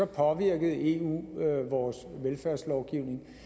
påvirkede eu vores velfærdslovgivning